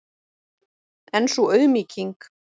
En sú auðmýking!